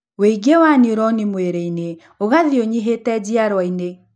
Wũingĩ wa niuroni mũĩrĩ-inĩ ũgathiĩ ũnyihĩte njiarwa-inĩ